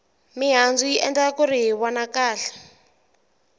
mihandzu yi endla kuri hi vona kahle